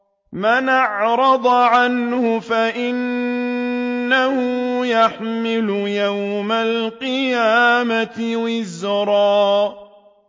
مَّنْ أَعْرَضَ عَنْهُ فَإِنَّهُ يَحْمِلُ يَوْمَ الْقِيَامَةِ وِزْرًا